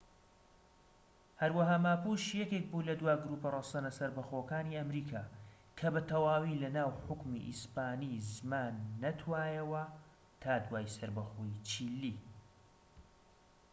هەروەها ماپوش یەکێک بوو لە دوا گروپە ڕەسەنە سەربەخۆکانی ئەمریکا، کە بەتەواوی لە ناو حوکمی ئیسپانی زمان نەتوایەوە تا دوای سەربەخۆیی چیلی‎